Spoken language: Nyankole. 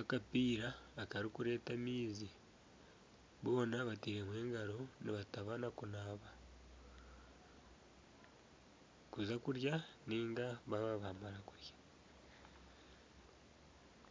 akapiira akarikureeta amaizi boona bataireho engaro nibatabana kunaba kuza kurya niga baaba baamara kurya.